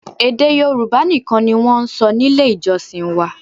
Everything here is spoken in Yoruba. Èdè Yorùbá nìkan ni wọ́n ń sọ nílé ìjọsìn wa